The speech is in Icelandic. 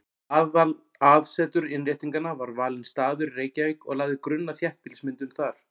Aðalaðsetur Innréttinganna var valinn staður í Reykjavík og lagði grunn að þéttbýlismyndun þar.